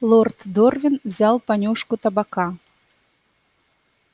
лорд дорвин взял понюшку табака